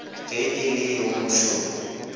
ge e le yo mošoro